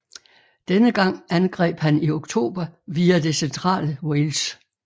Denne gang angreb han i oktober via det centrale Wales